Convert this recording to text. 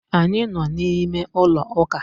Anyị nọ n'ime ụlọ ụka